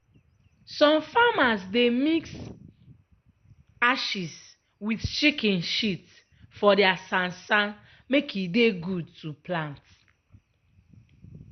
some farmers dey mix ashes wit chicken shit for dia sansan make e dey good to plant.